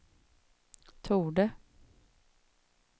torde